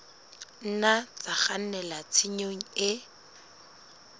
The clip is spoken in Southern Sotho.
nna tsa kgannela tshenyong e